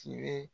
Tibe